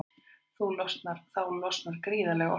Þá losnar gríðarleg orka.